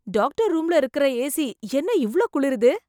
Doctor ரூம்ல இருக்குற AC என்ன இவ்ளோ குளிருது.